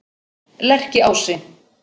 Lerkiási